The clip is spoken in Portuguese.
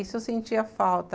Isso eu sentia falta.